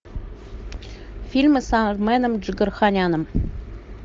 фильмы с арменом джигарханяном